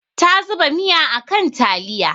Ta zuba miya a kan taliya.